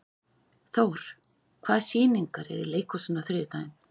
Thór, hvaða sýningar eru í leikhúsinu á þriðjudaginn?